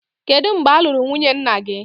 Kedu mgbe a lụrụ nwunye nna gị?